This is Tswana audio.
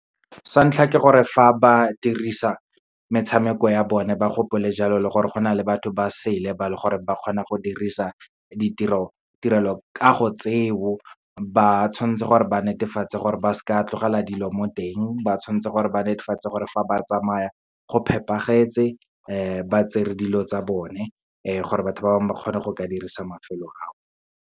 Sa ntlha, ke gore fa ba dirisa metshameko ya bone ba gopole jalo le gore gona le batho ba sele ba le gore ba kgona go dirisa tirelokago tseo. Ba tshwantse gore ba netefatse gore, ba se ka tlogela dilo mo teng. Ba tshwantse gore ba netefatse gore fa ba tsamaya go phepagetse, ba tsere dilo tsa bone, gore batho ba bangwe ba kgone go ka dirisa mafelo ao.